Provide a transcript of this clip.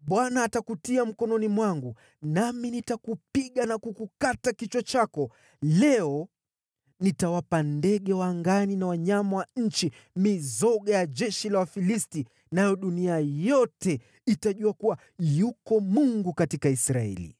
Bwana atakutia mkononi mwangu, nami nitakupiga na kukukata kichwa chako. Leo nitawapa ndege wa angani na wanyama wa nchi mizoga ya jeshi la Wafilisti, nayo dunia yote itajua kuwa yuko Mungu katika Israeli.